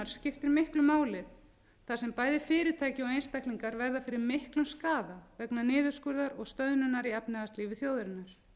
skiptir miklu máli þar sem bæði fyrirtæki og einstaklingar verða fyrir miklum skaða vegna niðurskurðar og stöðnunar í efnahagslífi þjóðarinnar